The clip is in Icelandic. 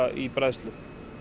í bræðslu